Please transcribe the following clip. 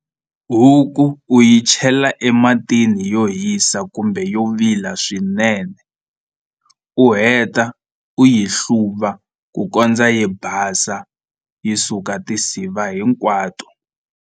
Huku u yi chela ematini yo hisa kumbe yo vila swinene u heta u yi hluva ku kondza yi basa yi suka tinsiva hinkwato.